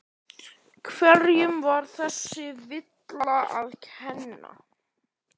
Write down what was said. Hverjum var þessi villa að kenna?